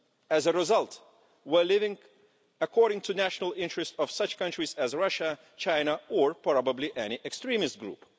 As a result, we're living according to the national interest of such countries as Russia, China or probably any extremist group.